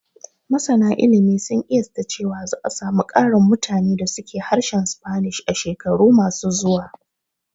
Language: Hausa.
Masana ilimi sun ƙiyasta cewa za a samu ƙarin mutane da su ke harshen Spanish a shekaru ma su zuwa